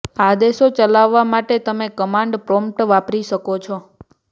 આદેશો ચલાવવા માટે તમે કમાન્ડ પ્રોમ્પ્ટ વાપરી શકો છો